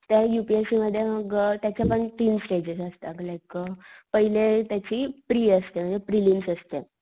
त्या U P S C मध्ये मग त्याच्या पण तीन स्टेजेस असता लाइक अ पहिले त्याची प्री असते म्हणजे प्रीलियम असते.